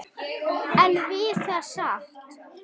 En við það sat.